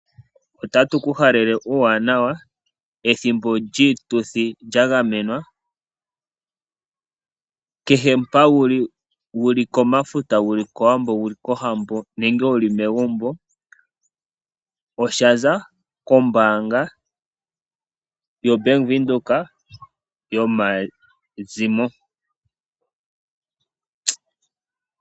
Otatu ku halele uuwanawa pethimbo lyiituthi lyagamenwa , kehe mpa wuli. wuli komafuta wuli kowambo nenge wuli megumbo. shika oshaza kombaanga ya Venduka .